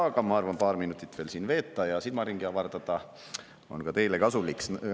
Aga ma arvan, et paar minutit veel siin veeta ja silmaringi avardada on ka teile kasulik.